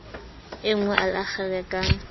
enngwe a le akgele ka